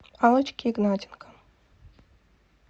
аллочке игнатенко